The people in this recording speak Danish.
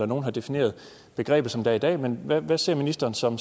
nogle har defineret begrebet som det er i dag men hvad ser ministeren så